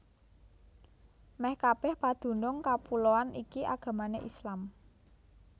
Mèh kabèh padunung kapuloan iki agamané Islam